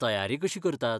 तयारी कशी करतात?